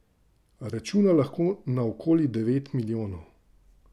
Računa lahko na okoli devet milijonov.